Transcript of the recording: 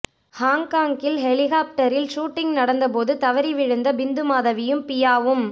ஹாங்காங்கில் ஹெலிகாப்டரில் ஷூட்டிங் நடந்த போது தவறி விழுந்த பிந்து மாதவியும் பியாவும்